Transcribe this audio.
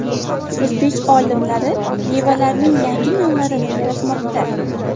O‘zbek olimlari mevalarning yangi navlarini yaratmoqda.